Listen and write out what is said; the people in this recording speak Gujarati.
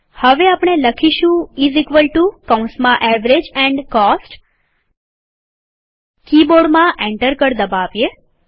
હવે આપણે લખીશું ઈઝ ઇકવલ ટુ કૌંસમાં એવરેજ એન્ડ કોસ્ટ કીબોર્ડમાં એન્ટર કળ દબાવીએ